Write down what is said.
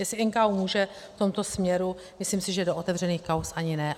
Jestli NKÚ může v tomto směru, myslím si, že do otevřených kauz ani ne.